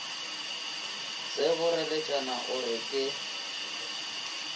se boreletšana o re ke